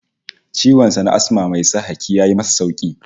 Ciwon sa na Asma mai sa haki ya yi masa sauki